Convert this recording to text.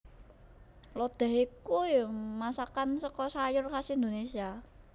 Lodéh ya iku masakan saka sayur khas Indonésia